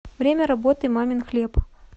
время работы мамин хлеб